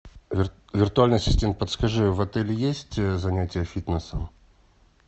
виртуальная система подскажи в отеле есть занятия фитнесом